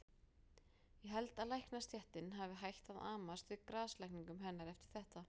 Ég held að læknastéttin hafi hætt að amast við grasalækningum hennar eftir þetta.